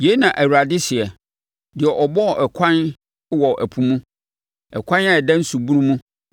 Yei na Awurade seɛ, deɛ ɔbɔɔ ɛkwan wɔ ɛpo mu, ɛkwan a ɛda nsubunu mu,